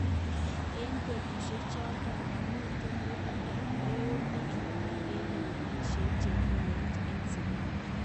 Eng betushek choton momiten murindo neo nekikimwa eng lewenishet chekiyaak eng Zimbabwe.